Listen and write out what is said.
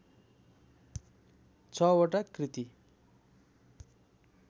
छवटा कृति